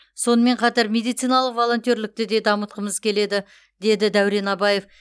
сонымен қатар медициналық волонтерлікті де дамытқымыз келеді деді дәурен абаев